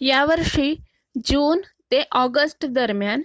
या वर्षी जून ते अॉगस्टदरम्यान